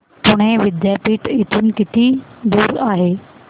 पुणे विद्यापीठ इथून किती दूर आहे